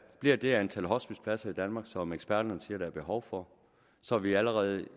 bliver det antal hospicepladser i danmark som eksperterne siger der er behov for så vi allerede